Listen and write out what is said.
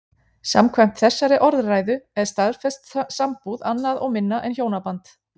Samkvæmt þessari orðræðu er staðfest sambúð annað og minna en hjónaband.